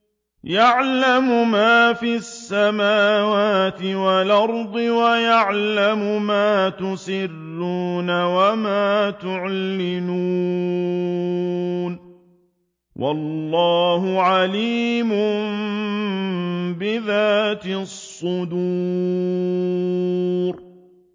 يَعْلَمُ مَا فِي السَّمَاوَاتِ وَالْأَرْضِ وَيَعْلَمُ مَا تُسِرُّونَ وَمَا تُعْلِنُونَ ۚ وَاللَّهُ عَلِيمٌ بِذَاتِ الصُّدُورِ